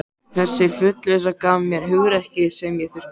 Þessi fullvissa gaf mér hugrekkið sem ég þurfti.